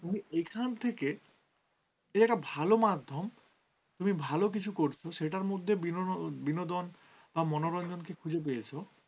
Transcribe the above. তুমি এখান থেকে এর ভাল মাধ্যম তুমি ভালো কিছু করছ সেটার মধ্যে বিনোদন বা মনোরঞ্জন কে খুঁজে পেয়েছো